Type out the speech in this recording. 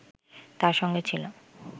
তার সঙ্গে ছিল